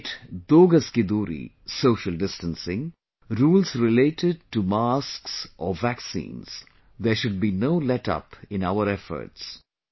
Be it 'दो गज की दूरी' social distancing, rules related to masks or vaccines, there should be no letup in our efforts